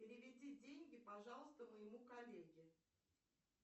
переведи деньги пожалуйста моему коллеге